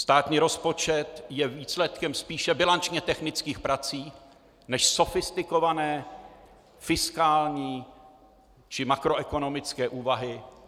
Státní rozpočet je výsledkem spíše bilančně technických prací než sofistikované fiskální či makroekonomické úvahy.